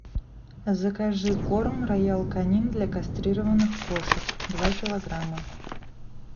закажи корм роял канин для кастрированных кошек два килограмма